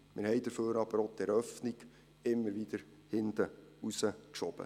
Wir haben deswegen aber auch die Eröffnung immer wieder nach hinten verschoben.